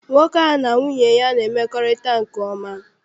Nwoke a na nwunye ya na-emekorita nke oma.